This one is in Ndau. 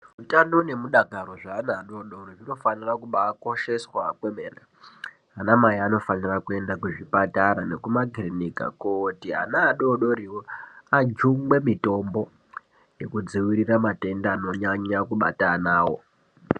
Utano neudakaro weana adodori zvinofanira kukosheswa kwemene, ana mai anofanira kuenda kuzvipatara nekuma kirinika kooti ana adodoriwo ajungwe mitombo ekudzivirira matenda anonyanya kubata ana avo.